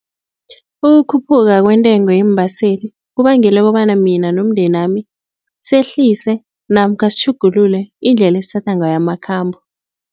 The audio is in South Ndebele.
Ukukhuphuka kwentengo yeembaseli kubangela kobana mina nomndenami sehlise namkha sitjhugulule indlela esithatha ngayo amakhambo.